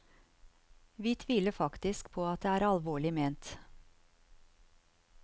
Vi tviler faktisk på at det er alvorlig ment.